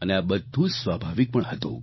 અને આ ઘણું જ સ્વાભાવિક પણ હતું